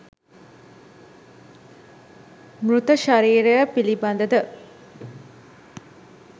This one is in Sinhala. මෘතශරීරය පිළිබඳ ද